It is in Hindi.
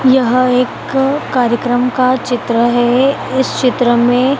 यह एक कार्यक्रम का चित्र है इस चित्र में--